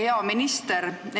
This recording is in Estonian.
Hea minister!